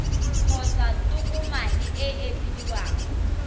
kgotsa tokomane e e bidiwang